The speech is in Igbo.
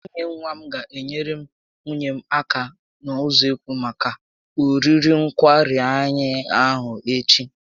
Nwunye nwa m ga enyere nwunye m aka n'usekwu maka oriri nkwari anyị ahụ echi